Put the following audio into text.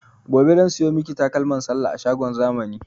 Gobe zan siyo miki takalman sallah a shagon zamani